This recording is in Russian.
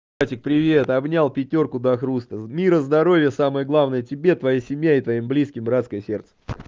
братик привет обнял пятёрку до хруста мира здоровья самое главное тебе твоей семье и твоим близким братское сердце